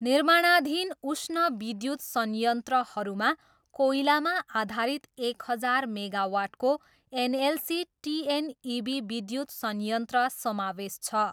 निर्माणाधीन उष्ण विद्युत संयन्त्रहरूमा कोइलामा आधारित एक हजार मेगावाटको एनएलसी टिएनइबी विद्युत संयन्त्र समावेश छ।